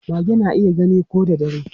Mage na iya gani ko da dare.